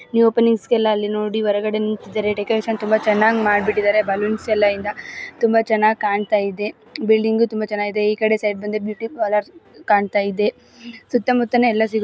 new openings ಗೆಲ್ಲ ಅಲ್ಲಿ ನೋಡಿ ಹೊರಗಡೆ ನಿಂತಿದ್ದಾರೆ ಡೆಕೋರೇಷನ್ ತುಂಬಾ ಚೆನ್ನಾಗಿ ಮಾಡಿಬಿಟ್ಟಿದ್ದಾರೆ ಬಲ್ಲೋನ್ಸ್ ಎಲ್ಲ ಇಂದ ತುಂಬಾ ಚೆನ್ನಾಗಿ ಕಾಣತಾಯಿದೆ ಬಿಲ್ಡಿಂಗ್ ತುಂಬಾ ಚೆನ್ನಾಗಿದೆ ಈಕಡೆ ಸೈಡ್ ಬಂದು ಬ್ಯೂಟಿ ಪಾರಲರ್ ಕಾಣತಾಯಿದೆ ಸುತ್ತಾಮುತ್ತಾನೆ ಎಲ್ಲ ಸಿಗುತ್ತೆ--